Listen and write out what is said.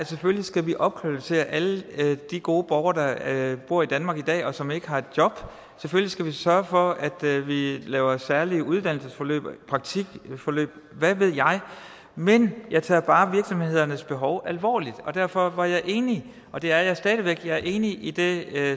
selvfølgelig skal opkvalificere alle de gode borgere der bor i danmark i dag og som ikke har et job selvfølgelig skal vi sørge for at vi laver særlige uddannelsesforløb praktikforløb hvad ved jeg men jeg tager bare virksomhedernes behov alvorligt derfor var jeg enig og det er jeg stadig væk jeg er enig i det